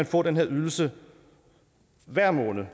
få den her ydelse hver måned